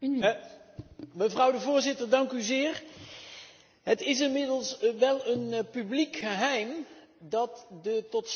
Het is inmiddels wel een publiek geheim dat de totstandkoming van dit verslag niet eenvoudig was.